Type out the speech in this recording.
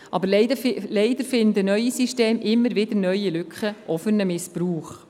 Aber leider finden neue Systeme immer wieder neue Lücken, auch für einen Missbrauch.